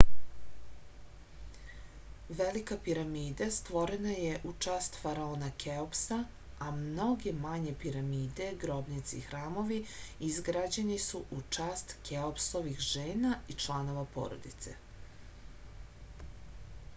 velika piramida stvorena je u čast faraona keopsa a mnoge manje piramide grobnice i hramovi izgrađeni su u čast keopsovih žena i članova porodice